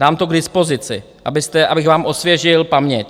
Dám to k dispozici, abych vám osvěžil paměť.